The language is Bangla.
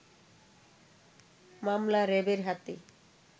মামলা র‌্যাবের হাতে